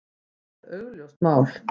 Það er augljóst mál.